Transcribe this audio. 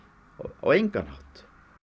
á engan hátt